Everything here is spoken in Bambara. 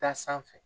Taa sanfɛ